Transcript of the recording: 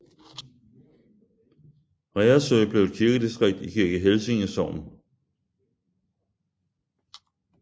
Reersø blev et kirkedistrikt i Kirke Helsinge Sogn